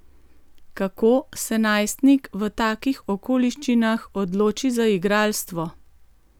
Kako se najstnik v takih okoliščinah odloči za igralstvo?